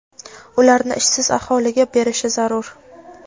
ularni ishsiz aholiga berishi zarur.